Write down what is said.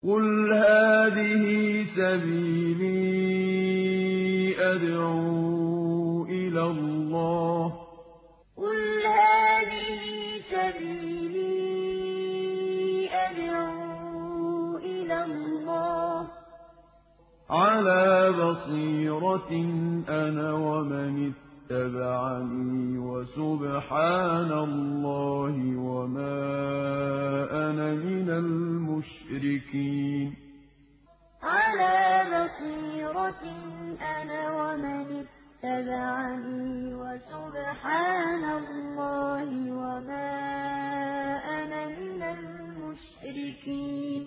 قُلْ هَٰذِهِ سَبِيلِي أَدْعُو إِلَى اللَّهِ ۚ عَلَىٰ بَصِيرَةٍ أَنَا وَمَنِ اتَّبَعَنِي ۖ وَسُبْحَانَ اللَّهِ وَمَا أَنَا مِنَ الْمُشْرِكِينَ قُلْ هَٰذِهِ سَبِيلِي أَدْعُو إِلَى اللَّهِ ۚ عَلَىٰ بَصِيرَةٍ أَنَا وَمَنِ اتَّبَعَنِي ۖ وَسُبْحَانَ اللَّهِ وَمَا أَنَا مِنَ الْمُشْرِكِينَ